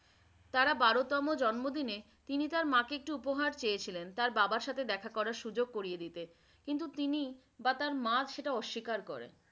তারা বারো তম জন্মদিনে তিনি তার মাকে একটি উপহার চেয়েছিলেন। তার বাবার সাথে দেখা করার সুযোগ করিয়ে দিতে । কিন্তু তিনি বা তার মা সেটা অস্বীকার করেন ।